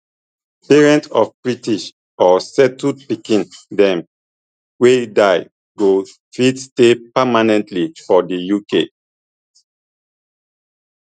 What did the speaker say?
parents of british or settled pikin dem wey die go fit stay permanently for di uk